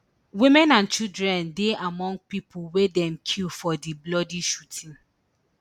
women and children dey among pipo wey dem kill for di bloody shooting